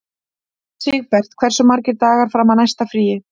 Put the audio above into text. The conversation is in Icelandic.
Sigbert, hversu margir dagar fram að næsta fríi?